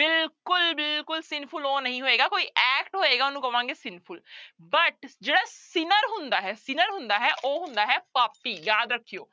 ਬਿਲਕੁਲ ਬਿਲਕੁਲ sinful ਉਹ ਨਹੀਂ ਹੋਏਗਾ ਕੋਈ act ਹੋਏਗਾ ਉਹਨੂੰ ਕਵਾਂਗੇ sinful but ਜਿਹੜਾ sinner ਹੁੰਦਾ ਹੈ sinner ਹੁੰਦਾ ਹੈ ਉਹ ਹੁੰਦਾ ਹੈ ਪਾਪੀ, ਯਾਦ ਰੱਖਿਓ